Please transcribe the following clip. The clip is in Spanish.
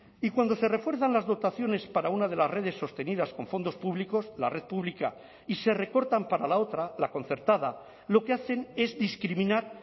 y cuando se refuerzan las dotaciones para una de las redes sostenidas con fondos públicos la red pública y se recortan para la otra la concertada lo que hacen es discriminar